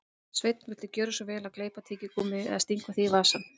Sveinn, viltu gjöra svo vel að gleypa tyggigúmmíið eða stinga því í vasann